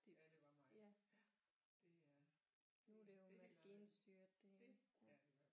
Ja det var meget ja det er det er det i hvert fald